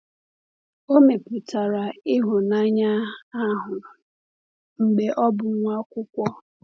O mepụtara ịhụnanya ahụ mgbe ọ bụ nwa akwụkwọ.